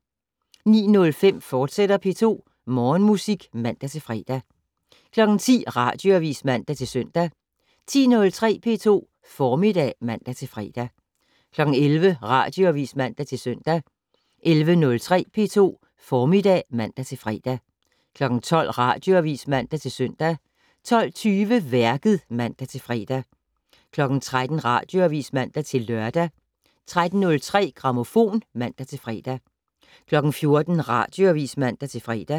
09:05: P2 Morgenmusik, fortsat (man-fre) 10:00: Radioavis (man-søn) 10:03: P2 Formiddag (man-fre) 11:00: Radioavis (man-søn) 11:03: P2 Formiddag (man-fre) 12:00: Radioavis (man-søn) 12:20: Værket (man-fre) 13:00: Radioavis (man-lør) 13:03: Grammofon (man-fre) 14:00: Radioavis (man-fre)